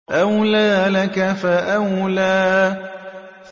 أَوْلَىٰ لَكَ فَأَوْلَىٰ